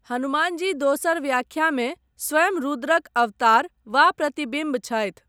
हनुमानजी दोसर व्याख्यामे स्वयं रुद्रक अवतार वा प्रतिबिम्ब छथि।